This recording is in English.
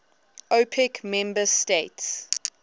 opec member states